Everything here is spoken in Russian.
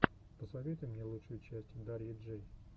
посоветуй мне лучшую часть дарьи джэй